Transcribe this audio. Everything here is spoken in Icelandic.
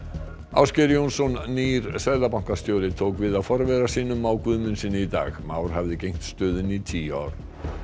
Ásgeir Jónsson nýr seðlabankastjóri tók við af forvera sínum Má Guðmundssyni í dag Már hafði gegnt stöðunni í tíu ár